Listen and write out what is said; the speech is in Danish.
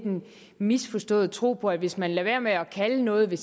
misforstået tro på at hvis man lader være med at kalde noget ved